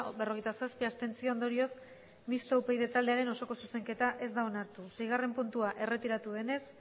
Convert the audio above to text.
berrogeita zazpi abstentzio ondorioz mistoa upyd taldearen osoko zuzenketa ez da onartu seigarren puntua erretiratu denez